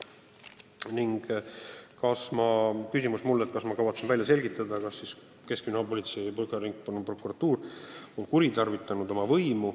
Mulle esitati küsimus, kuidas ma kavatsen välja selgitada, kas keskkriminaalpolitsei ja Põhja Ringkonnaprokuratuur on oma võimu kuritarvitanud.